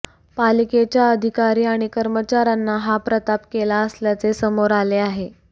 पालिकेच्या अधिकारी आणि कर्मचाऱ्यांना हा प्रताप केला असल्याचे समोर आले आहे